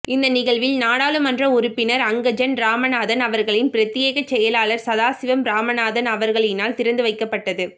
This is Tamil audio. இந்த நிகழ்வில் நாடாளுமன்ற உறுப்பினர் அங்கஜன் இராமநாதன் அவர்களின் பிரத்தியேக செயலாளர் சதாசிவம் இராமநாதன் அவர்களினால் திறந்து வைக்கப்பட்டது